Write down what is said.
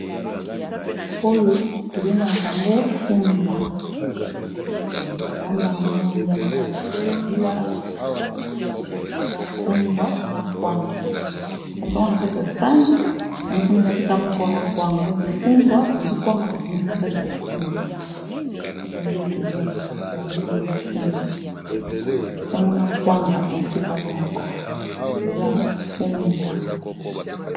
Oyo to bengaka yango fumbwa. Ba lambaka yango na nguba na mafuta ya mbila. Ba tie biloko nyonso, ea fumbwa na kwanga. Ba tie yango na kati ya sani, ba sangisi yango esika moko na kwanga donc fumbwa bazwi kwanga ba bimisi na kati ya fumbwa eya biloko to liaka ba bengaka yango fumbwa. Ba tie yango na kwanga esika moko. Eza fumbwa.